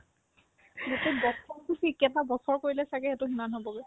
গোটেই বছৰতো কি কেইটা বছৰ কৰিলেও ছাগে সেইটো সিমান হ'বগৈ